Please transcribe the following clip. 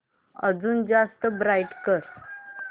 अजून जास्त ब्राईट कर